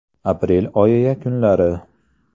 Aprel oyi yakunlari.